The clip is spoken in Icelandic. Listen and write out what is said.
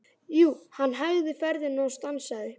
Jú, hann hægði ferðina og stansaði.